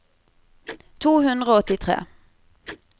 to hundre og åttitre